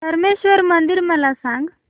धरमेश्वर मंदिर मला सांग